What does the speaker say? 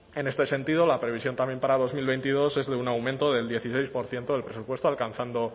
en este sentido la previsión también para dos mil veintidós es de un aumento del dieciséis por ciento del presupuesto alcanzando